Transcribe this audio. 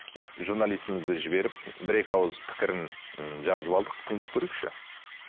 ы журналистімізді жіберіп бір екі ауыз пікірін м жазып алдық тыңдап көрейікші